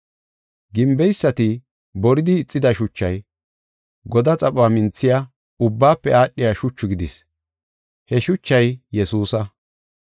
“ ‘Gimbeysati boridi ixida shuchay, godaa xaphuwa minthiya, ubbaafe aadhiya shuchu gidis. He shuchay Yesuusa.’